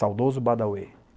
Saudoso Badauê.